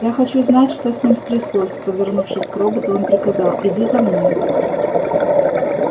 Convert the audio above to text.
я хочу знать что с ним стряслось повернувшись к роботу он приказал иди за мной